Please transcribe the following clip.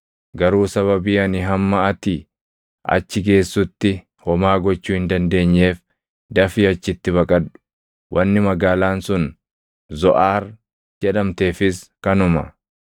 Garuu sababii ani hamma ati achi geessutti homaa gochuu hin dandeenyeef dafii achitti baqadhu!” Wanni magaalaan sun Zoʼaar jedhamteefis kanuma.